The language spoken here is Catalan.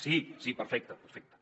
sí sí perfecte perfecte